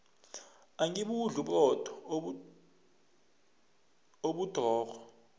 angibudli uburotho obudrorho